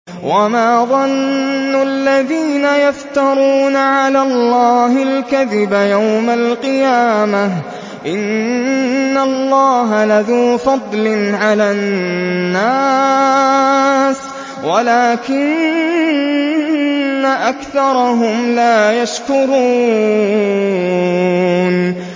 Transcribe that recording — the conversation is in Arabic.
وَمَا ظَنُّ الَّذِينَ يَفْتَرُونَ عَلَى اللَّهِ الْكَذِبَ يَوْمَ الْقِيَامَةِ ۗ إِنَّ اللَّهَ لَذُو فَضْلٍ عَلَى النَّاسِ وَلَٰكِنَّ أَكْثَرَهُمْ لَا يَشْكُرُونَ